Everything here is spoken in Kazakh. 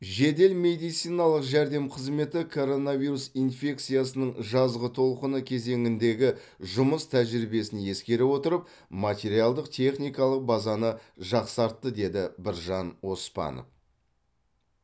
жедел медициналық жәрдем қызметі коронавирус инфекциясының жазғы толқыны кезеңіндегі жұмыс тәжірибесін ескере отырып материалдық техникалық базаны жақсартты деді біржан оспанов